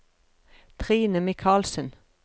Trine Michaelsen